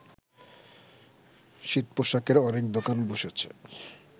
শীতপোশাকের অনেক দোকান বসেছে